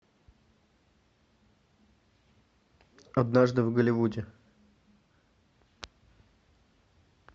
однажды в голливуде